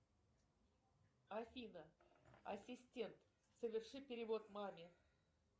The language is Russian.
афина ассистент соверши перевод маме